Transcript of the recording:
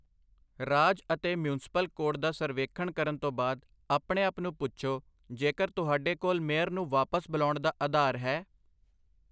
ਰਾਜ ਅਤੇ municipal code ਦਾ ਸਰਵੇਖਣ ਕਰਨ ਤੋਂ ਬਾਅਦ, ਆਪਣੇ ਆਪ ਨੂੰ ਪੁੱਛੋ ਜੇਕਰ ਤੁਹਾਡੇ ਕੋਲ ਮੇਅਰ ਨੂੰ ਵਾਪਸ ਬੁਲਾਉਣ ਦਾ ਆਧਾਰ ਹੈ।